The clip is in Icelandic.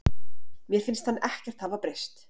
Mér finnst hann ekkert hafa breyst.